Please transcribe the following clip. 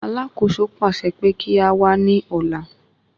Alákòóso pàṣẹ pé kí á wá ní ọ̀lá.